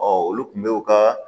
olu kun bɛ u ka